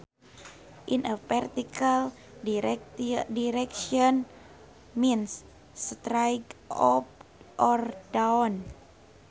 In a vertical direction means straight up or down